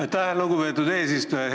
Aitäh, lugupeetud eesistuja!